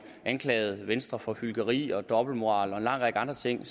anklagede venstre for hykleri og dobbeltmoral og en lang række andre ting